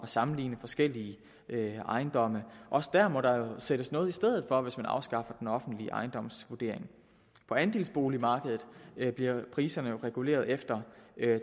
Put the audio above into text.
sammenligne forskellige ejendomme også der må der sættes noget i stedet for hvis man afskaffer den offentlige ejendomsvurdering på andelsboligmarkedet bliver priserne jo reguleret efter